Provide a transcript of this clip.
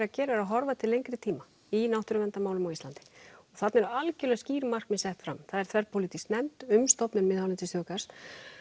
að gera er að horfa til lengri tíma í náttúruverndarmálum á Íslandi þarna eru algjörlega skýr markmið sett fram það er þverpólitísk nefnd um stofnun miðhálendisþjóðgarðs